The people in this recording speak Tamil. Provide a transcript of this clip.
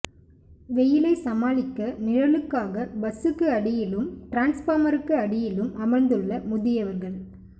வெயிலை சமாளிக்க நிழலுக்காக பஸ்சுக்கு அடியிலும் டிரான்ஸ்பார்மருக்கு அடியிலும் அமர்ந்துள்ள முதியவர்கள்